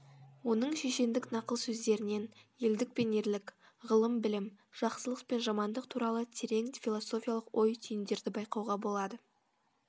оның шешендік нақыл сөздерінен елдік пен ерлік ғылым білім жақсылық пен жамандық туралы терең философиялық ой түйіндерді байқауға болады